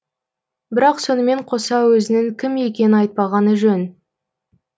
бірақ сонымен қоса өзінің кім екенін айтпағаны жөн